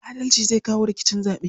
Adalci zai kawo sauƙin rikicin zaɓe.